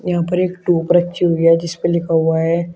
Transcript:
यहां पर एक ट्यूब रखी हुई है और जिस पे लिखा हुआ है।